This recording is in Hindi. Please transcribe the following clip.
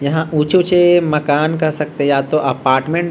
यहाँ ऊँचे-ऊँचे मकान कह सकते है या तो अपार्टमेंट ।